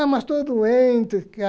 Ah, mas estô doente.